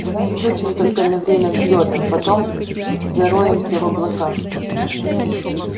давай включим только на время взлёта потом зароемся в облака